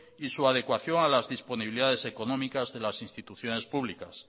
y su adecuación a las disponibilidades económicas de las instituciones públicas